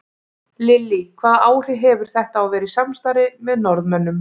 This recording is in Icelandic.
Lillý: Hvaða áhrif hefur þetta að vera í samstarfi með Norðmönnum?